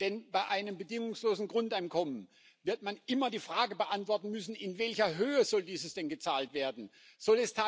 Denn bei einem bedingungslosen Grundeinkommen wird man immer die Frage beantworten müssen, in welcher Höhe dieses gezahlt werden soll.